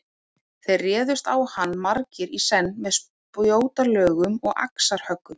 Þeir réðust á hann margir í senn með spjótalögum og axarhöggum.